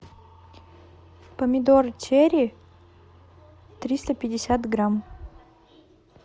помидор черри триста пятьдесят грамм